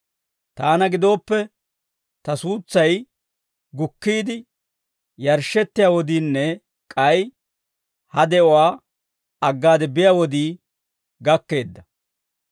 Taana gidooppe, ta suutsay gukkiide yarshshettiyaa wodiinne k'ay ha de'uwaa aggaade biyaa wodii gakkeedda.